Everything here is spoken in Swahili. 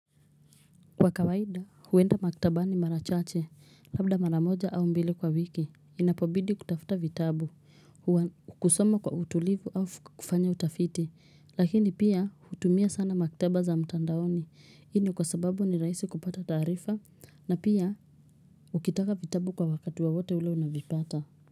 Kwa kawaida, huenda maktabani mara chache, labda mara moja au mbili kwa wiki, inapobidi kutafuta vitabu, kusomo kwa utulivu au kufanya utafiti, lakini pia hutumia sana maktaba za mtandaoni, hii ni kwa sababu ni rahisi kupata taarifa, na pia ukitaka vitabu kwa wakati wowote ule unavipata.